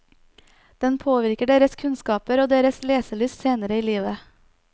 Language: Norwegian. Den påvirker deres kunnskaper og deres leselyst senere i livet.